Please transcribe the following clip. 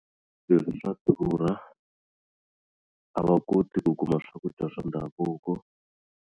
Swilo swa durha a va koti ku kuma swakudya swa ndhavuko.